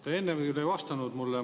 Te enne küll ei vastanud mulle.